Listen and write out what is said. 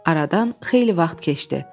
Aradan xeyli vaxt keçdi.